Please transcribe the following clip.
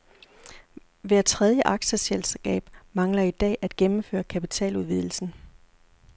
Hver tredje aktieselskab mangler i dag at gennemføre kapitaludvidelsen.